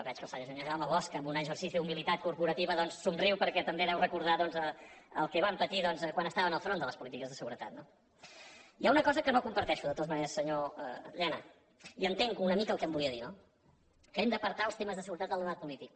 veig que el senyor jaume bosch en un exercici d’humilitat corporativa doncs somriu perquè també deu recordar el que van patir quan estaven al front de les polítiques de seguretat no hi ha una cosa que no comparteixo de totes maneres senyor llena i entenc una mica el que em volia dir no que hem d’apartar els temes de seguretat del debat polític